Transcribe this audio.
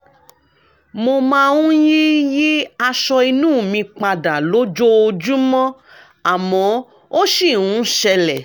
mo máa ń yí yí aṣọ inú mi pa dà lójoojúmọ́ àmọ́ ó ṣì ń ṣẹlẹ̀